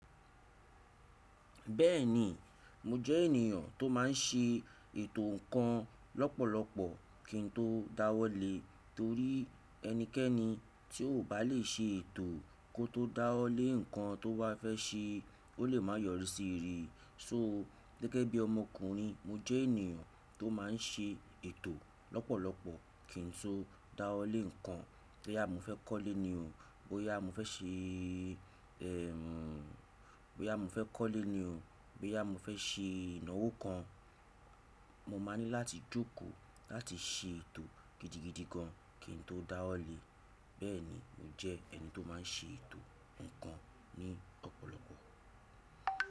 Bẹ́ẹ̀ni, mo jẹ́ ènìyàn tó máa n ṣe ètò ǹkan lọ́pọ̀lọpọ̀ kí n tó dáwọ́ lé, torí ẹnikẹ́ni tí ò bá lè ṣe ètò kó tó dáwọ́ lé ǹkan tó wá fẹ́ ṣe, ó lè máa yọrí sí rere. Sọ, gẹ́gẹ́ bí ọmọkùnrin, mo jẹ́ ènìyàn tó máa n ṣe ètò lọ́pọ̀lọpọ̀ kí n tó dáwọ́ lé ǹkan. Bóyá mo fẹ́ kọ́lé ni o, bóyá mo fẹ́ ṣe, bóyá mo fẹ́ kọ́lé ni o, bóyá mo fẹ́ ṣe ìnáwó kan, mo máa ní láti jókòó láti ṣe ètò gidigidi gan kí n tó dáwọ́ lé. Bẹ́ẹ̀ni, mo jẹ́ ẹni tó máa n ṣe ètò ǹkan ní ọ̀pọ̀lọpọ̀.